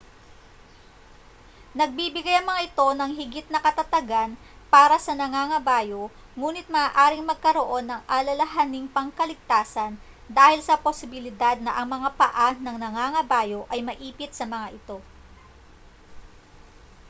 nagbibigay ang mga ito ng higit na katatagan para sa nangangabayo nguni't maaaring magkaroon ng alalahaning pangkaligtasan dahil sa posibilidad na ang mga paa ng nangangabayo ay maipit sa mga ito